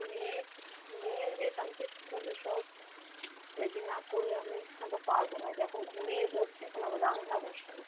মেয়ে, মেয়ে ওইযে কালকে school এ সব ready না করলে আমি আবার পারবো না, ওইযে এখন ঘুমিয়ে পড়ছে এখন আবার রান্না বসাবো।